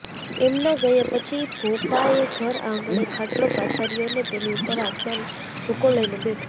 એમના ગયા પછી ભોપાએ ઘર આંગણે ખાટલો પાથર્યો ને તેની ઉપર હાથમાં ધોકો લઈને બેઠો